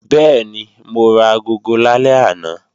Bẹ́ẹ̀ni, mo ra agogo lálẹ́ àná